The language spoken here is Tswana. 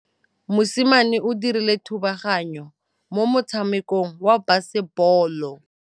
Mosimane o dirile thubaganyô mo motshamekong wa basebôlô.